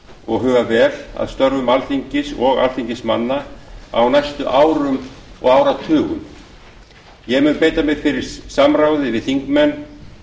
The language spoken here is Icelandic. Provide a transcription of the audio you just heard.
og huga vel að þörfum alþingis og alþingismanna á næstu árum og áratugum ég mun beita mér fyrir samráði við þingmenn